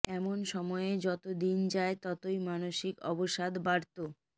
এমন সময়ে যত দিন যায় ততই মানসিক অবসাদ বাড়ত